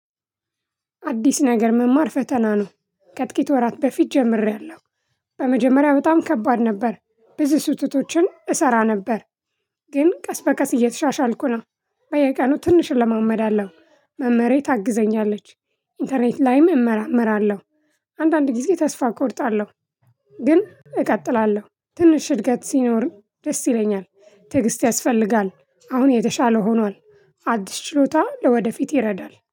አዲስ ነገር መማር ፈተና ነው። ከጥቂት ወራት በፊት ጀምሬያለሁ። በመጀመሪያ በጣም ከባድ ነበር ብዙ ስህተቶችን እሰራ ነበር። ግን ቀስ በቀስ እየተሻሻልኩ ነው። በየቀኑ ትንሽ እለማመዳለሁ መምህሬ ታግዘኛለች። ኢንተርኔት ላይም እመራመራለሁ። አንዳንድ ጊዜ ተስፋ እቆርጣለሁ። ግን እቀጥላለሁ ትንሽ እድገት ሲኖር ደስ ይለኛል። ትዕግስት ያስፈልጋል። አሁን የተሻለ ሆኗል። አዲስ ችሎታ ለወደፊት ይረዳል